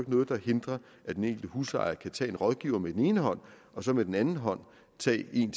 noget der hindrer at den enkelte husejer kan tage en rådgiver med den ene hånd og så med den anden hånd tage en